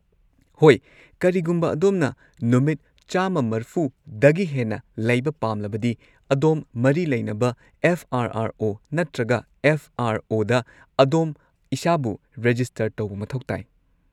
ꯍꯣꯏ, ꯀꯔꯤꯒꯨꯝꯕ ꯑꯗꯣꯝꯅ ꯅꯨꯃꯤꯠ ꯱꯸꯰ꯗꯒꯤ ꯍꯦꯟꯅ ꯂꯩꯕ ꯄꯥꯝꯂꯕꯗꯤ, ꯑꯗꯣꯝ ꯃꯔꯤ ꯂꯩꯅꯕ ꯑꯦꯐ. ꯑꯥꯔ. ꯑꯥꯔ. ꯑꯣ. ꯅꯠꯇ꯭ꯔꯒ ꯑꯦꯐ. ꯑꯥꯔ. ꯑꯣ. ꯗ ꯑꯗꯣꯝ ꯏꯁꯥꯕꯨ ꯔꯦꯖꯤꯁꯇꯔ ꯇꯧꯕ ꯃꯊꯧ ꯇꯥꯏ꯫